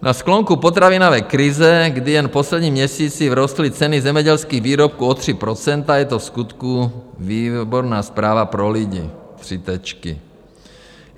Na sklonku potravinové krize, kdy jen v posledním měsíci vzrostly ceny zemědělských výrobků o 3 %, je to vskutku výborná zpráva pro lidi.